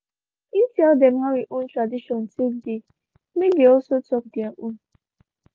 him tell them how him own tradition take dey make also talk their own